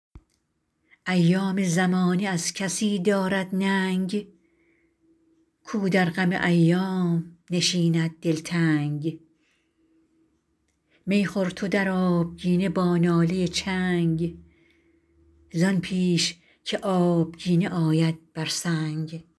ایام زمانه از کسی دارد ننگ کو در غم ایام نشیند دلتنگ می خور تو در آبگینه با ناله چنگ زان پیش که آبگینه آید بر سنگ